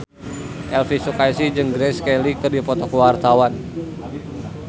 Elvy Sukaesih jeung Grace Kelly keur dipoto ku wartawan